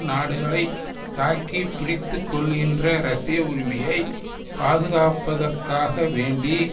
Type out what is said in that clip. நாடுகளை தாக்கி பிடித்துக்கொள்கின்ற ரஷ்ய உரிமையை பாதுகாப்பதற்காக வேண்டி